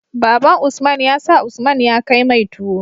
Baban usman ya sa usman ya kai mai tuwo